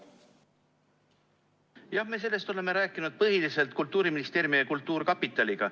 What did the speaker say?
Jah, me oleme rääkinud põhiliselt Kultuuriministeeriumi ja kultuurkapitaliga.